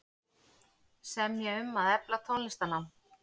Semja um að efla tónlistarnám